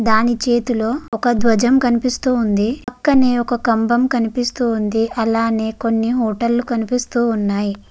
దాని చేతిలో ఒక ద్వజమ్ కనిపిస్తూ ఉంది. పక్కనే ఒక కంభం కనిపిస్తూ ఉంది. అలానే కొన్ని హోటల్ కనిపిస్తూ ఉన్నాయి.